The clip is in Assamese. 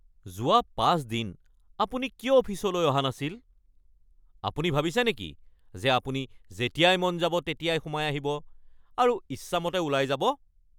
যোৱা ৫ দিন আপুনি কিয় অফিচলৈ অহা নাছিল? আপুনি ভাবিছে নেকি যে আপুনি যেতিয়াই মন যাব তেতিয়াই সোমাই আহিব আৰু ইচ্ছামতে ওলাই যাব?